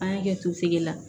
An y'a kɛ tosegin na